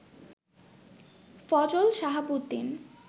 Fazal Shahabuddin